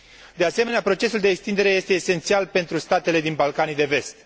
De asemenea, procesul de extindere este esențial pentru statele din Balcanii de Vest.